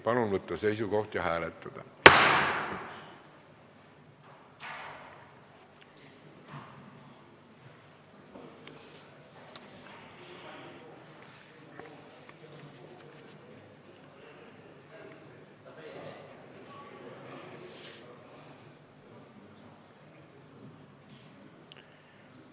Palun võtta seisukoht ja hääletada!